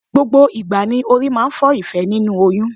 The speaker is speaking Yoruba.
Gbogbo ìgbà ni orí máa ń fọ Ìfẹ́ nínú oyún.